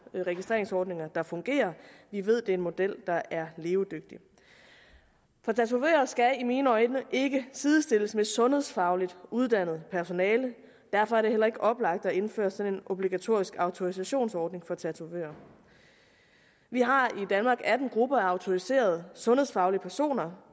registreringsordninger der fungerer vi ved det er en model der er levedygtig tatovører skal i mine øjne ikke sidestilles med et sundhedsfagligt uddannet personale og derfor er det heller ikke oplagt at indføre sådan en obligatorisk autorisationsordning for tatovører vi har i danmark atten grupper af autoriserede sundhedsfaglige personer